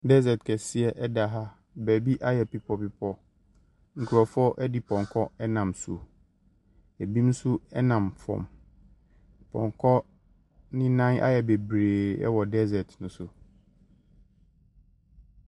Dessert kɛsea nam ha. Baabi ayɛ bepɔ bepɔ. Nkurɔfoɔ de pɔnkɔ nam so. Ɛbinom nso nam fam. Pɔnkɔ no nam ayɛ bebree wɔ dessert no so.